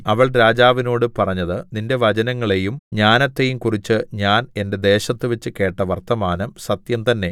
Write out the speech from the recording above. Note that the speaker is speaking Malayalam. അവൾ രാജാവിനോടു പറഞ്ഞത് നിന്റെ വചനങ്ങളെയും ജ്ഞാനത്തെയും കുറിച്ച് ഞാൻ എന്റെ ദേശത്തുവെച്ച് കേട്ട വർത്തമാനം സത്യംതന്നേ